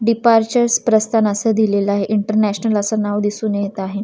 Departures प्रस्थान असं दिलेलं आहे इंटरनॅशनल असं नाव दिसून येत आहे.